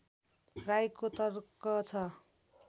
राईको तर्क छ